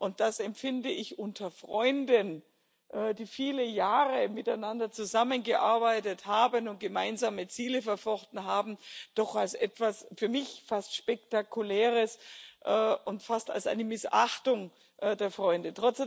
Und das empfinde ich unter Freunden, die viele Jahre miteinander zusammengearbeitet und gemeinsame Ziele verfochten haben, doch als etwas für mich fast Spektakuläres und fast als eine Missachtung der Freunde.